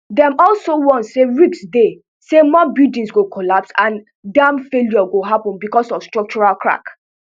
dem also warn say risk dey say more buildings go collapse and dam failures go happun bicos of structural cracks